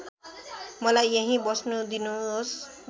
मलाई यहींँ बस्न दिनोस्